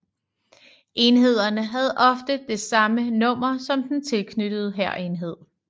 Enhederne havde ofte det samme nummer som den tilknyttede hærenhed